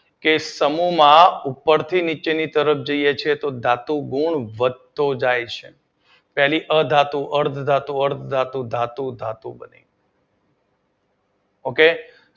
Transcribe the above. માં ઉપર થી નીચે તરફ જઈએ છીએ તો ધાતુ ઑ વધતો જાય છે તેની અધાતુ ઑ અર્ધ ધાતુઓ ધાતુ ધાતુ બને ઓકે